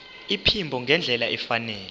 iphimbo ngendlela efanele